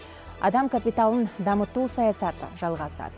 адам капиталын дамыту саясаты жалғасады